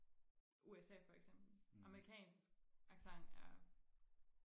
USA for eksempel amerikansk accent er